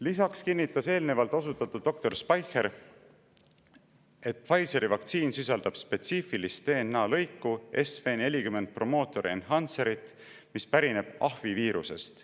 Lisaks kinnitas eelnevalt osutatud doktor Speicher, et Pfizeri vaktsiin sisaldab spetsiifilist DNA lõiku, SV40 promoter-enhancer-it, mis pärineb ahvi viirusest.